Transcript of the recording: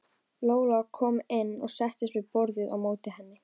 Lolla kom inn og settist við borðið á móti henni.